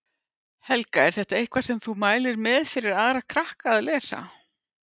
Helga: Er þetta eitthvað sem þú mælir með fyrir aðra krakka að lesa?